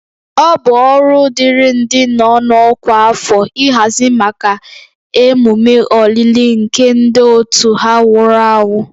Ọ bụ ọrụ dịịrị ndị nọ n'ọkwa afọ ịhazi maka emume olili nke ndị otu ha nwụrụ anwụ